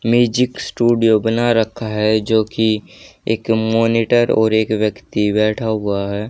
Music studio बना रखा है जो की एक मॉनिटर और एक व्यक्ति बैठा हुआ है।